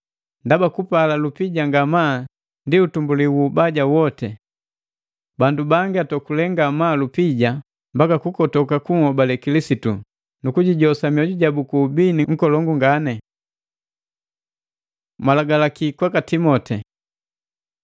Ndaba kupala lupija ngamaa ndi utumbuli wu ubaja woti. Bandu bangi atokule ngamaa lupija mbaka kukotoka kunhobale Kilisitu, nukujijosa mioju jabu ku ubini nkolongu ngani. Malagalaki kwaka Timoteo